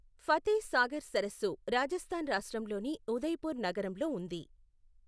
ఫతేహ్ సాగర్ సరస్సు రాజస్థాన్ రాష్ట్రంలోని ఉదయపూర్ నగరంలో ఉంది.